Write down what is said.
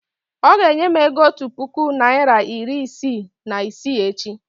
ọ ga-enye m ego otu puku naịra iri isii na isii echi